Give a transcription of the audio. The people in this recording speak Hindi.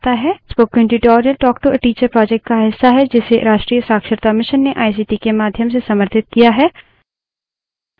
spoken tutorials talk to a teacher project का हिस्सा है जिसे राष्ट्रीय शिक्षा mission ने आईसीटी के माध्यम से समर्थित किया है